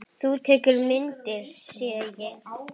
Þú tekur myndir, sé ég.